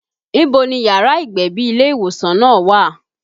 Ibo ni yàrá ìgbẹ̀bí ilé ìwòsàn náà wà?